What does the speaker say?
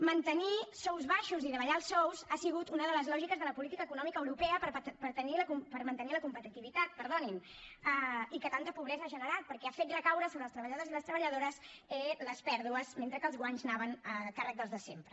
mantenir sous baixos i davallar els sous ha sigut una de les lògiques de la política econòmica europea per mantenir la competitivitat i que tanta pobresa ha generat perquè ha fet recaure sobre els treballadors i les treballadores les pèrdues mentre que els guanys anaven a càrrec dels de sempre